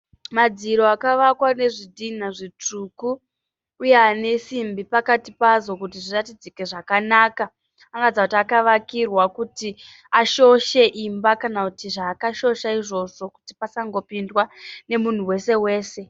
Madziro akavakwa nezvidhinha zvitsvuku uye ane simbi pakati pawo kuti zviratidzike zvakanaka. Anoratidza kuti akavakirwa kuti ashoshe imba kana kuti zvaakashosha izvozvo kuti pasangopindwa nemunhu wese wese.